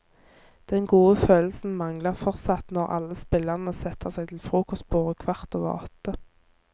Den gode følelsen mangler fortsatt når alle spillerne setter seg til frokostbordet kvart over åtte.